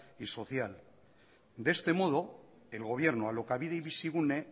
y social de este modo el gobierno alokabide y bizigune